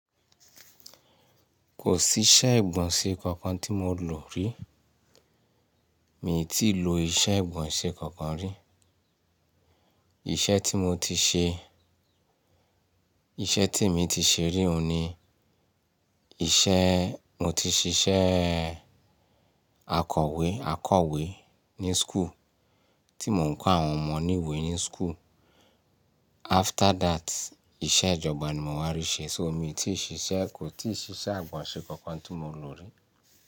Kò sí iṣẹ́ ìgbọ̀nsẹ̀ kankan tí mo lò rí. Mi tí ì lo iṣẹ́ ìgbọ̀nsẹ̀ kankan rí. Iṣẹ́ tí mo ti ṣe, iṣẹ́ tí èmi ti ṣe rí òun ni iṣẹ́ mo ti ṣiṣẹ́ akọ̀wẹ́ akọ̀wẹ́ ní school tí mò ń kọ́ àwọn ọmọ ní ìwé ní school. After that, iṣẹ́ ìjọba ni mo wá rí ṣe. So mi tí ì ṣe iṣẹ́, kò tí ì ṣi iṣẹ́ ìgbọ̀nsẹ̀ kankan tí mo lò rí.